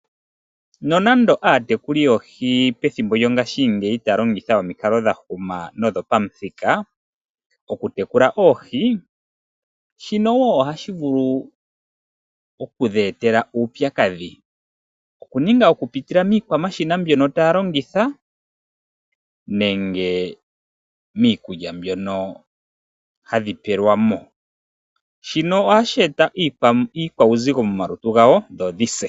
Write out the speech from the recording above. No nando aatekuli yoohi pethimbo lyongaashi ngeyi tayalongitha omikalo dha huma nodho pamuthika oku tekula oohi, shino woo oha shivulu oku dhi etela uupyakadhi, oku pitila miikwamashina mbyoka ta ya longitha, nenge miikulya mbyono hadhi pelwamo. Shino oha shi eta uuzigo momalutu gadho, dho dhi se.